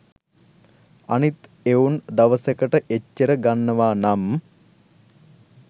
අනිත් එවුන් දවසකට එච්චර ගන්නවා නම්